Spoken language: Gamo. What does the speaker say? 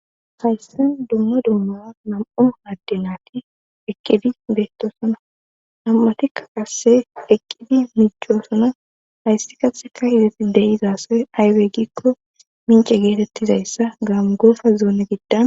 hayssen dumma dummara mam7u hadde naati eqqidi beettosona nam7atikka qasse eqqidi micchoosona hayssi kahika hizeti deyizasoy aywe ggikko mince geetettizayssa gaamu goosa zoone giddan